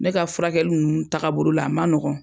Ne ka furakɛli nunnu taaga bolola a ma nɔgɔn.